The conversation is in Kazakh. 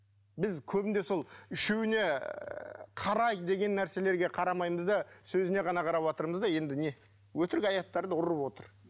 біз көбінде сол үшеуіне қарай деген нәрселерге қарамаймыз да сөзіне ғана қараватырмыз да енді не өтірік аяттарды ұрып отыр